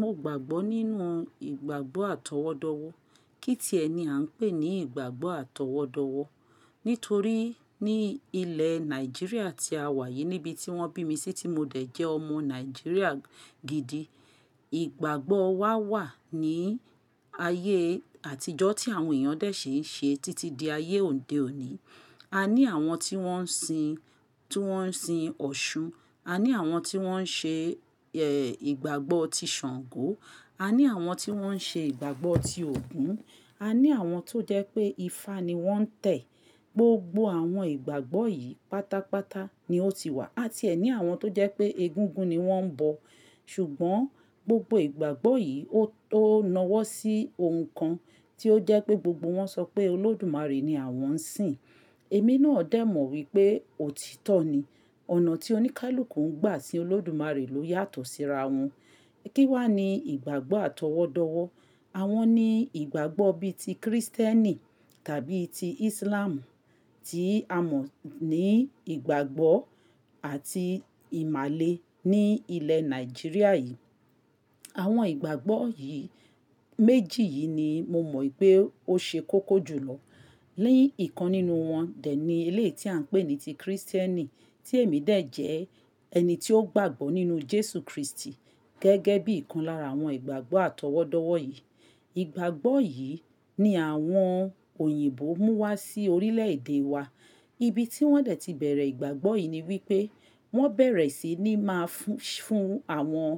Mo gbàgbọ́ nínú ìgbàgbọ́ atọwọ́dọwọ́. Kí ti ẹ ni a ń pè ní ìgbàgbọ́ atọwọ́dọwọ́. Nítorí ní ilẹ̀ Nàìjíríà tí a wà yìí, níbi tí wọ́n bí mi sí tí mo dẹ̀ jẹ́ ọmọ Nàìjíríà gidi, ìgbàgbọ́ wa wà ní ayé àtijọ́ tí àwọn èèyàn dẹ̀ ṣi ń ṣe títí di ayé òde òní. A ní àwọn tí wọ́n ń sin, ti woń sin Ọ̀ṣun. A ní àwọn tí wọ́n ń ṣe, ẹ́, ìgbàgbọ́ ti Ṣàngó. A ní àwọn tí wọ́n ń ṣe ìgbàgbọ́ ti Ògún. A ní àwọn tó jẹ́ pé ifá ni wọ́n ń tẹ̀. Gbogbo àwọn ìgbàgbọ́ yìí pátápátá ni ó ti wà. A ti ẹ ní àwọn tó jẹ́ pé egúngún ni wọ́n ń bọ̀. Ṣùgbọ́n gbogbo ìgbàgbọ́ yìí ó nawọ́ sí ohun kan tí ó jẹ́ pé gbogbo wọn sọ pé Olódùmarè ni àwọn ń sìn. Èmi náà dẹ̀ mọ̀ wípé òtítọ́ ni. Ọ̀nà tí oníkálùkù ń gbà sín Olódùmarè ló yàtọ̀ síra wọn. Kí wá ni ìgbàgbọ́ atọwọ́dọwọ́. Awon ní ìgbàgbọ́ bí i ti kìrìsìtẹ́nì tàbí ti ìsílámù tí a mọ̀ ní ìgbàgbọ́ àti ìmàle ní ilẹ̀ Nàìjíríà yìí. Àwọn ìgbàgbọ́ yìí, méjì yìí ni mo mọ̀ wípé ó ṣe kókó jù lọ. Ní ìkan nínú wọn, dẹ̀ ní eléyi tí à ń pè ní ti kìrìsìtẹ́nì tí èmi dẹ̀ jẹ ẹni tí ó gbàgbọ́ nínú Jésù Kristi gẹ́gẹ́ bí ìkan lára àwọn ìgbàgbọ́ atọwọ́dọwọ́ yìí. Ìgbàgbọ́ yìí ni àwọn òyìnbó mú wá sí orílẹ̀ èdè wa. Ibi tí wọ́n dẹ̀ ti beẹ̀rẹ̀ ìgbàgbọ́ yìí ni wípé wọ́n bẹ̀rẹ̀ sí ní máa fún, fún àwọn,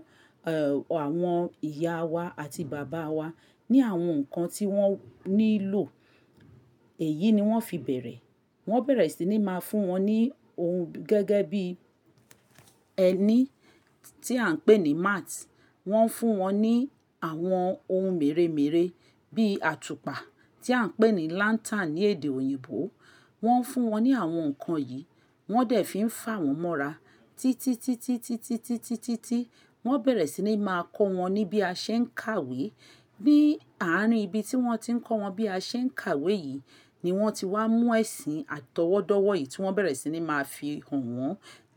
ẹ́, àwọn ìyá wa àti bàbá wa ní àwọn nǹkan tí wọ́n nílò. Èyí ni wọ́n fi bẹ̀rẹ̀. Wọ́n bẹ̀rẹ̀ sí ní máa fún wọn ní ohun gẹ́gẹ́ bí ẹni tí à ń pè ní mats. Wọ́n fún wọn ní àwọn ohun mèremère bí i àtùpà tí à ń pè ní lantern ní èdè òyìnbó. Wọ́n fún wọn ní àwọn nǹkan yìí. Wọ́n dẹ̀ fí ń fà wọ́n mọ́ra. Títítítítítítítítí wọ́n bẹ̀rẹ̀ sí ní máa kọ́ wọn ní bí a ṣe ń kàwé. Ni àárín ibi tí wọ́n ti ń kọ́ wọn bí a ṣe ń kàwé yìí ni wọ́n ti wá mú ẹ̀sìn atọwọ́dọwọ́ yìí tí wọ́n bẹ̀rẹ̀ sí ní máa fi hàn wọ́n.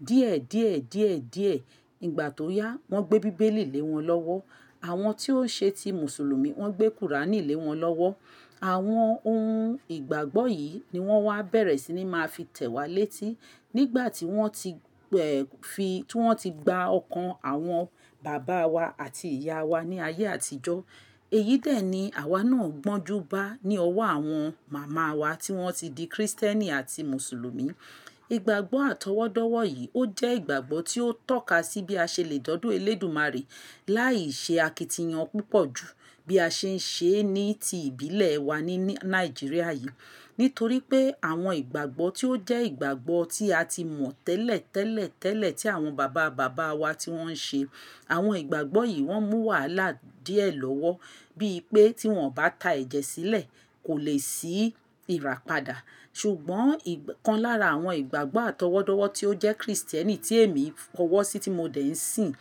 Díẹ̀díẹ̀díẹ̀díẹ̀ ìgbà tó yá, wọ́n gbé bíbélì lé wọn lọ́wọ́. Àwọn tí ó ṣe ti mùsùlùmí wọ́n gbé kùránì lé wọn lọ́wọ́. Àwọn ohun ìgbàgbọ́ yìí ni wọ́n wá bẹ̀rẹ̀ sí ní máa fi tẹ̀ wá létí nígbà tí wọ́n ti, ẹ́, fi, tí wọ́n ti gba ọkàn àwọn bàbá wa àti ìyá wa ní ayé àtijọ́. Èyí dẹ̀ ni àwa náà gbọ́njú bá ní ọwọ́ àwọn màmá wa tí wọ́n ti di kìrìsìtẹ́nì àti mùsùlùmí. Ìgbàgbọ́ atọwọ́dọwọ́ yìí ó jẹ́ ìgbàgbọ́ tí ó tọ́ka sí bí a ṣe le de ọdo Olódùmarè láì ṣe akitiyan púpọ̀ ju bí a ṣe ń ṣe é ní ti ìbílẹ̀ wa ní, ní Nàìjíríà yìí. Nítorí pé àwọn ìgbàgbọ́ tí ó jẹ́ ìgbàgbọ́ tí a ti mọ̀ tẹ́lẹ̀tẹ́lẹ̀tẹ́lẹ̀ tí àwọn bàbá bàbá wa tí wọ́n ń ṣe. Àwọn ìgbàgbọ́ yìí wọ́n mú wàhálà díẹ̀ lọ́wọ́ bí i pé tí wọ́n ò bá ta ẹ̀jẹ̀ sílẹ̀, kò lè sí ìràpadà. Ṣùgbọ́n ìkan lára àwọn ìgbàgbọ́ atọwọ́dọwọ́ tí ó jẹ́ kìrìsìtẹ́nì tí èmi fọ̀wọ́ sí tí mo dẹ̀ ń sìn,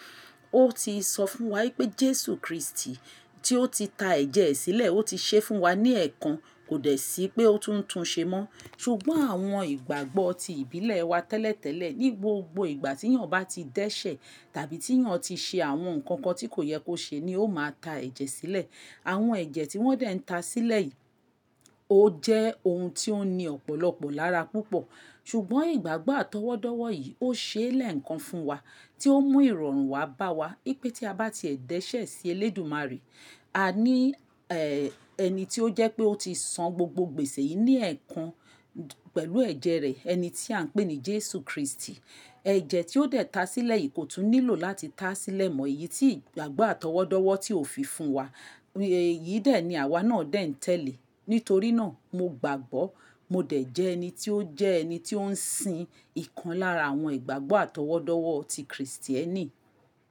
ó ti sọ fún wa wípé Jésù Kristi tí ó ti ta ẹ̀jẹ̀ sílẹ̀, ó ti ṣe fún wa ní ẹ̀ẹ̀kan, kò dẹ̀ sí pé ó tún ń tun ṣe mọ́. Ṣùgbọ́n àwọn ìgbàgbọ́ ti ìbílẹ̀ wa tẹ́lẹ̀tẹ́lẹ̀ ní gbogbo ìgbà tí èèyàn bá ti dẹ́ṣẹ̀ tàbí tí èèyàn ti ṣe àwọn nǹkan kan tí kò yẹ kó ṣe ni ó máa ta ẹ̀jẹ̀ sílẹ̀. Àwọn ẹ̀jẹ̀ tí wọ́n dẹ̀ ń ta sílẹ̀ yìí ó jẹ́ ohun tí ó ní ọ̀pọ̀lọpọ̀ lára púpọ̀. Ṣùgbọ́n ìgbàgbọ́ atọwọ́dọwọ́ yìí ó ṣe é lẹ̀ekan fún wa tí ó mú ìrọ̀rùn wá bá wa wípé tí a bá ti dẹ́ṣẹ̀ sí Olódùmarè, a ní, ẹ́, ẹni tí ó jẹ́ pé ó ti san gbogbo gbèsè yìí ní ẹ̀ẹ̀kan pẹ̀lú ẹ̀jẹ̀ rẹ̀, ẹni tí à ń pè ní Jésù Kristi. Ẹ̀jẹ̀ tí ó dẹ̀ ta sílẹ̀ yìí kò tún nílò láti ta sílẹ̀ mọ. Èyí tí ìgbàgbọ́ atọwọ́dọwọ́ tí ó fi fún wa. Èyí dẹ̀ ni àwa náà dẹ̀ ń tẹ̀lé. Nítorí náà mo gbàgbọ́. Mo dẹ̀ jẹ ẹni tí ó jẹ́ ẹni tí ó ń sin ìkan lára àwọn ìgbàgbọ́ atọwọ́dọwọ́ ti kìrìsìtẹ́nì.